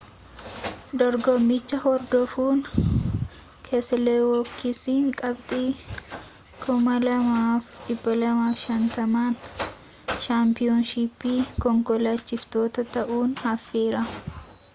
dorgommicha hordofuun keseelowiskiin qabxii 2,250n shaanpiyoonshiippii konkolaachiftootaa ta'uun hafeera